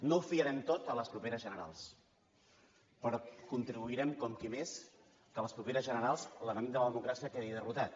no ho fiarem tot a les properes generals però contribuirem com qui més que a les properes generals l’enemic de la democràcia quedi derrotat